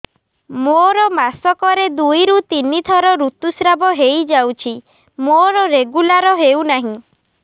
ମୋର ମାସ କ ରେ ଦୁଇ ରୁ ତିନି ଥର ଋତୁଶ୍ରାବ ହେଇଯାଉଛି ମୋର ରେଗୁଲାର ହେଉନାହିଁ